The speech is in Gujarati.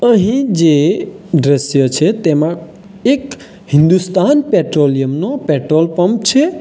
અહીં જે દ્રશ્ય છે તેમાં એક હિન્દુસ્તાન પેટ્રોલિયમ નું પેટ્રોલ પંપ છે.